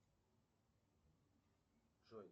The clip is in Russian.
джой